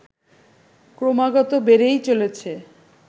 ক্রমাগত বেড়েই চলেছে